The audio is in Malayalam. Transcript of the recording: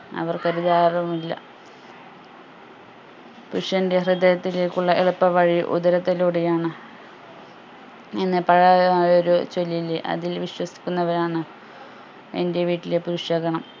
അവർക് വുമില്ല പുരുഷന്റെ ഹൃദയത്തിലേക്കുള്ള എളുപ്പ വഴി ഉദരത്തിലൂടെയാണ് എന്ന് പഴയായ ഒരു ചൊല്ല് ഇല്ലേ അതിൽ വിശ്വസിക്കുന്നവരാണ് എന്റെ വീട്ടിലെ പുരുഷഗണം